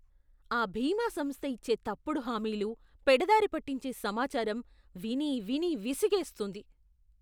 ఆ బీమా సంస్థ ఇచ్చే తప్పుడు హామీలు, పెడదారి పట్టించే సమాచారం విని విని విసుగేస్తోంది.